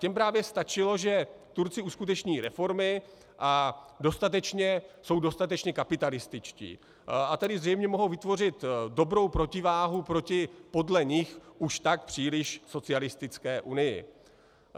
Těm právě stačilo, že Turci uskuteční reformy a jsou dostatečně kapitalističtí, a tedy zřejmě mohou vytvořit dobrou protiváhu proti podle nich už tak příliš socialistické Unii.